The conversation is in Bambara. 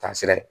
Taasira ye